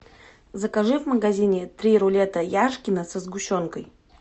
закажи в магазине три рулета яшкино со сгущенкой